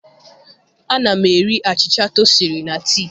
Ana m eri achịcha toasịrị na tii.